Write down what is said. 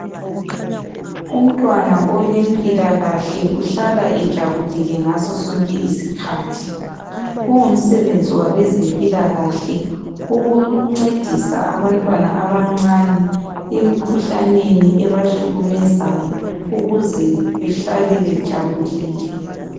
umntwana olempilakahle uhlala ejabulile ngaso sonke isikhathi kungumsebenzi wabezempilakahle ukuncedisa abantwana abancane emkhuhlaneni ebahlukumezayo ukuze behlale bejabulile